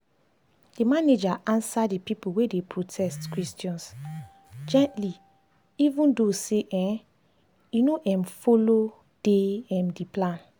the manager answer the the people wey dey protest questions gently even though say e no um follow dey um the plan.